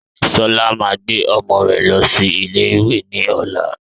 Sọlá máa gbé ọmọ rẹ losi ilé ìwé ni ọ̀la